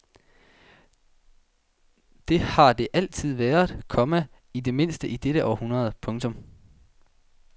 Det har det altid været, komma i det mindste i dette århundrede. punktum